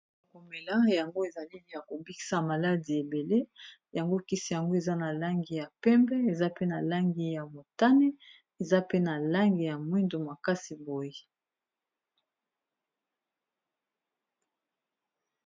Yako mela yango ezali kisi ya maladie ebele yango kisi yango eza na langi ya pembe eza pe na langi ya motane eza pe na langi ya mwindu makasi boye.